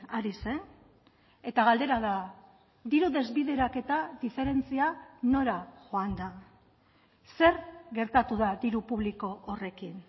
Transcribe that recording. ari zen eta galdera da diru desbideraketa diferentzia nora joan da zer gertatu da diru publiko horrekin